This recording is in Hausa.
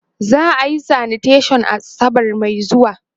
za'a Yi sanitation asabar Mai zuwa